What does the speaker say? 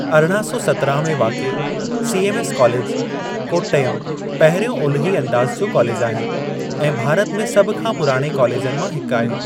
अरणा सौ सतिरहां में वाक़िए, सीएमएस कॉलेज, कोट्टयम, पहिरियों ओलही अंदाज़ जो कॉलेजु आहे, ऐं भारत में सभ खां पुराणे कॉलेजनि मां हिकु आहे।